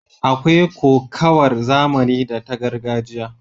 Akwai kokawar zamani da ta gargajiya.